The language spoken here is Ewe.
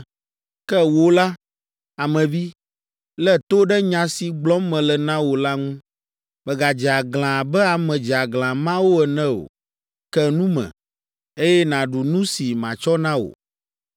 Ke wò la, ame vi, lé to ɖe nya si gblɔm mele na wò la ŋu. Mègadze aglã abe ame dzeaglã mawo ene o; ke nu me, eye nàɖu nu si matsɔ na wò.’ ”